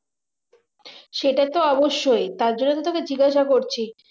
সেটা তো অবশ্যই তার জন্য তো তোকে জিজ্ঞাসা করছি